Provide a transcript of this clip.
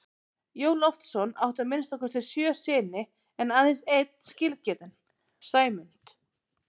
Jón Loftsson átti að minnsta kosti sjö syni en aðeins einn skilgetinn, Sæmund.